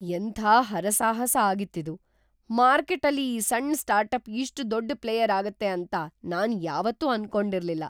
ಎಂಥ ಹರಸಾಹಸ ಆಗಿತ್ತಿದು! ಮಾರ್ಕೆಟ್ಟಲ್ಲಿ ಈ ಸಣ್ಣ ಸ್ಟಾರ್ಟಪ್ ಇಷ್ಟ್ ದೊಡ್ದ್ ಪ್ಲೇಯರ್ ಆಗತ್ತೆ ಅಂತ ನಾನ್‌ ಯಾವತ್ತೂ ಅನ್ಕೊಂಡಿರ್ಲಿಲ್ಲ.